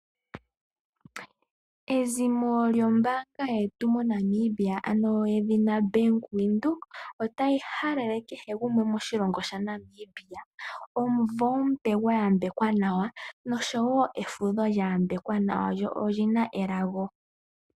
Ezimo lyombaanga yetu mo Namibia ano yedhina Ombaanga yaVenduka, ota yi halele kehe gumwe moshilongo shaNamibia omuvo omupe gwa yambekwa nawa nosho wo efundho lya yambekwa nawa lyo olyina elago.